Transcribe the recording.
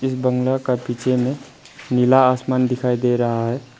इस बंगला का पीछे में नीला आसमान दिखाई दे रहा है।